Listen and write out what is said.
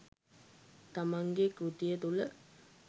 තමන්ගේ කෘතිය තුළ